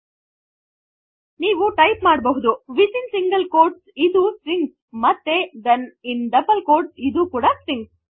tooಹಾಗಾಗಿ ನೀವು ಟೈಪ್ ಮಾಡಬಹುದು within single quotes ಇದು ಸ್ಟ್ರಿಂಗ್ ಮತ್ತೆ ಥೆನ್ ಇನ್ ಡಬಲ್ ಕ್ವೋಟ್ಸ್ ಇದು ಕೂಡ ಸ್ಟ್ರಿಂಗ್